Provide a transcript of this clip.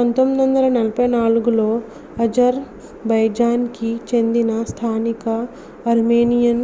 1994లో Azerbaijan కి చెందిన స్థానిక ఆర్మేనియన్